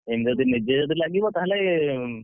ଯଦି ନିଜେ ଯଦି ଲାଗିବ ତାହେଲେ,